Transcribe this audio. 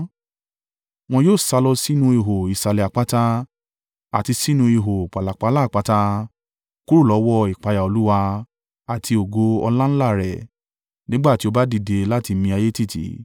Wọn yóò sálọ sínú ihò ìsàlẹ̀ àpáta àti sínú ihò pàlàpálá àpáta kúrò lọ́wọ́ ìpayà Olúwa àti ògo ọláńlá rẹ̀, nígbà tí ó bá dìde láti mi ayé tìtì.